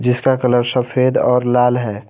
जिसका कलर सफेद और लाल है।